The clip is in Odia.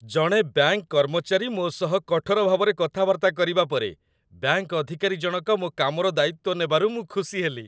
ଜଣେ ବ୍ୟାଙ୍କ କର୍ମଚାରୀ ମୋ ସହ କଠୋର ଭାବରେ କଥାବାର୍ତ୍ତା କରିବା ପରେ, ବ୍ୟାଙ୍କ ଅଧିକାରୀ ଜଣକ ମୋ କାମର ଦାୟିତ୍ୱ ନେବାରୁ ମୁଁ ଖୁସି ହେଲି।